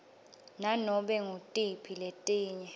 nanobe ngutiphi letinye